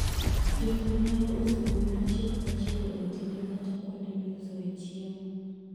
Jopur nyalo uso gwen achiel kachiel e otende kata kuonde miusoe chiemo.